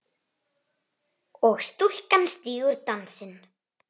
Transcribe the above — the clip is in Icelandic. og stúlkan stígur dansinn